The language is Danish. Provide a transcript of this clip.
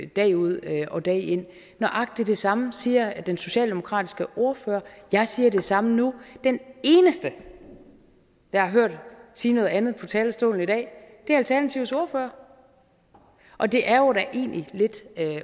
dag ud og dag ind nøjagtig det samme siger den socialdemokratiske ordfører og jeg siger det samme nu den eneste jeg har hørt sige noget andet på talerstolen i dag er alternativets ordfører og det er jo da egentlig lidt